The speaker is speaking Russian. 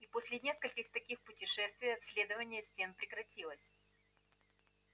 и после нескольких таких путешествий обследование стен прекратилось